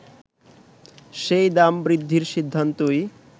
সেই দাম বৃদ্ধির সিদ্ধান্তই